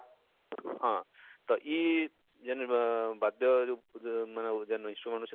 ହଁ ତ ଇ ଜେନ ଆଃ ବାଦ୍ୟ ଜେନ ଜେନ issue ଆମେ ଅଛେ,